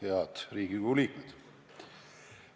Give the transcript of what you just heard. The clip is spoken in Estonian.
Head Riigikogu liikmed!